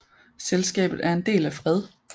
Selskabet er en del af Fred